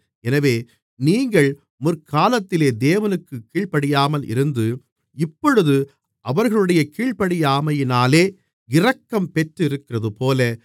எனவே நீங்கள் முற்காலத்திலே தேவனுக்குக் கீழ்ப்படியாமல் இருந்து இப்பொழுது அவர்களுடைய கீழ்ப்படியாமையினாலே இரக்கம் பெற்றிருக்கிறதுபோல